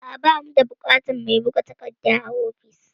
A'a, ba mu da buƙatar mai buga takarda a ofis